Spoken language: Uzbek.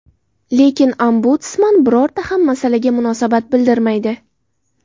Lekin Ombudsman birorta ham masalaga munosabat bildirmaydi.